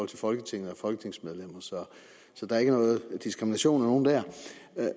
til folketinget og folketingsmedlemmer så der er ikke noget diskrimination af nogen der